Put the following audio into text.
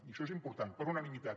i això és important per unanimitat